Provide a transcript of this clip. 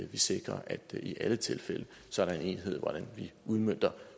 vi sikrer at der i alle tilfælde er enighed om hvordan vi udmønter